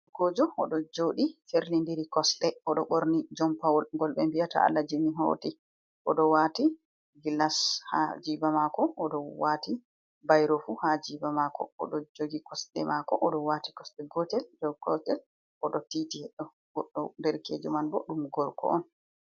Gorkojo o ɗo joɗi ferlindiri kosɗe o ɗo ɓorni jonpawol ngol ɓe vi'ata Alaji min hoti o ɗo wati gillas ha jiba mako, o ɗo wati bairofu fu ha jiba mako, o ɗo jogi kosɗe mako, o ɗo wati kosɗe gotel dow gotel, o ɗo titi her ɗo goɗɗo derkejo man bo ɗum gorko on.